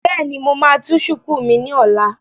Bẹ́ẹ̀ni, mo máa tú shùkú mi ní ọ̀la